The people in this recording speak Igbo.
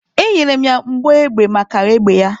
E nyere ya mbọ egbe maka egbe ya.